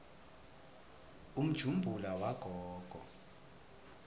umjumbula wagogo